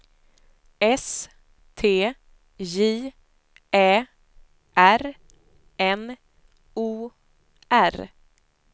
S T J Ä R N O R